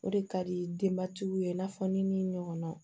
O de ka di denbatigiw ye i n'a fɔ ni min ɲɔgɔnnaw